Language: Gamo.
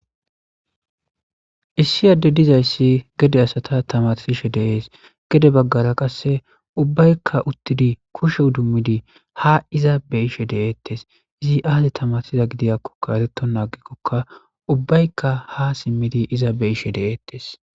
Issi Adey dizaysi gede asata tamarisishe de'es. Gede Bagara qaseka ubbayka uttidi kushe idimidi ha iza beyishe de'etesim Izi aazi tamarsizako eretena agikoka ubbayka ha simidi iza beyishe de'etesi.